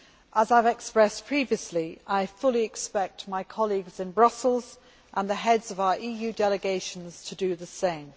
As I have expressed previously, I fully expect my colleagues in Brussels and the heads of our EU delegations to do the same.